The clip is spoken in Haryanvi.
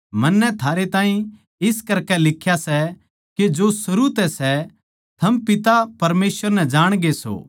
दुनिया अर उसकी अभिलाषा दोनु मिटते ज्या सै पर जो परमेसवर की मर्जी पै चाल्लै सै वो सदा बण्या रहवैगा